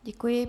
Děkuji.